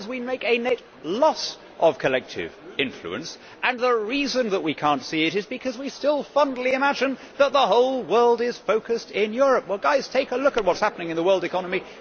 In other words, we make a net loss of collective influence and the reason that we cannot see it is because we still fondly imagine that the whole world is focused in Europe. Well guys, take a look at what is happening in the world economy.